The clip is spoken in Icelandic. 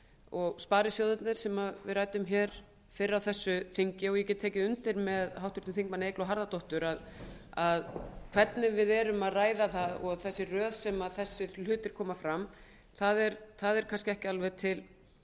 og sparisjóðirnir sem við ræddum fyrr á þessu þingi og ég get tekið undir með háttvirtum þingmanni eygló harðardóttur hvernig við erum að ræða það og þessi röð sem þessir hlutir koma fram er kannski ekki alveg